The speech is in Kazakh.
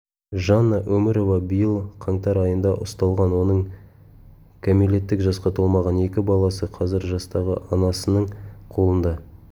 жанна өмірова биыл қаңтар айында ұсталған оның кәмелеттік жасқа толмаған екі баласы қазір жастағы анасының қолында